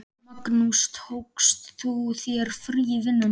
Magnús: Tókst þú þér frí í vinnunni?